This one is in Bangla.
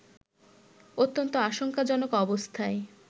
অত্যন্ত আশঙ্কাজনক অবস্থায়